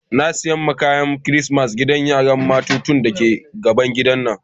N'na sayan wanan kayan kristimeti ma gidan yaran matatu da ke gaban gida na.